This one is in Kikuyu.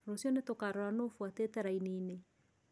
Rũcio nĩtũkarora nũ ũfuatĩte raini-inĩ.